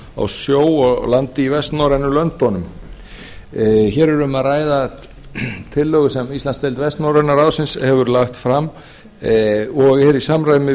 á sjó og landi í vestnorrænu löndunum hér er um að ræða tillögu sem íslandsdeild vestnorrænu löndunum hér er um að ræða tillögu sem íslandsdeild vestnorræna ráðsins hefur lagt fram og er í samræmi